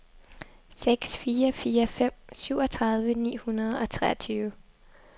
seks fire fire fem syvogtredive ni hundrede og treogtyve